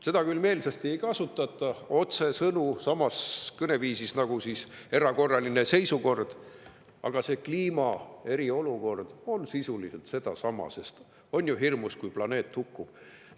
Seda küll ei öelda meelsasti otsesõnu või kõneviisis – "erakorraline seisukord" –, aga see kliimast eriolukord tähendab sisuliselt sedasama, sest on ju hirmus, kui planeet hukkub.